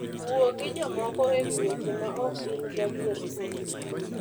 Wuo gi jomoko e wi weche maok in gadier kuomgi